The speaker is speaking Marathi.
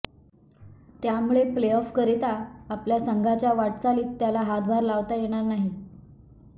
त्यामुळं प्ले ऑफकरिता आपल्या संघाच्या वाटचालीत त्याला हातभार लावता येणार नाही